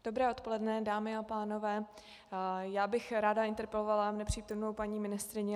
Dobré odpoledne, dámy a pánové, já bych ráda interpelovala nepřítomnou paní ministryni.